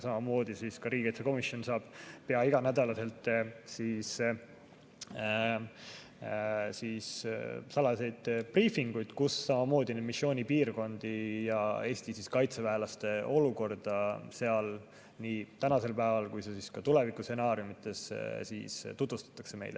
Ja riigikaitsekomisjon saab pea iganädalaselt salajasi briifinguid, kus samamoodi tutvustatakse meile missioonipiirkondi ja Eesti kaitseväelaste olukorda seal nii tänasel päeval kui ka tulevikustsenaariumides.